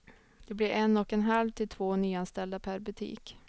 Det blir en och en halv till två nyanställda per butik.